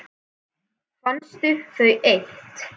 Finnst þau eitt.